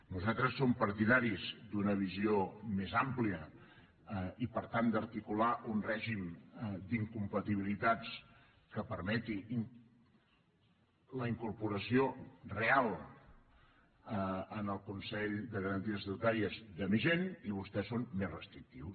nosaltres som partidaris d’una visió més àmplia i per tant d’articular un règim d’incompatibilitats que permeti la incorporació real en el consell de garanties estatutàries de més gent i vostès són més restrictius